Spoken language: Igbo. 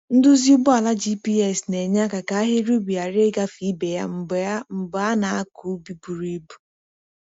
Nduzi ugbo ala GPS na-enyeaka ka ahịrị ubi ghara ịgafe ibe ha mgbe a mgbe a na-akụ ubi buru ibu.